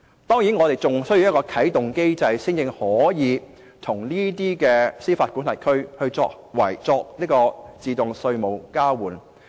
當然，我們還需要啟動機制，才可以與這些司法管轄區作自動稅務交換。